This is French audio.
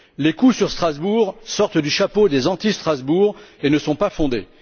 Les coûts sur Strasbourg sortent du chapeau des anti Strasbourg et ne sont pas fondés.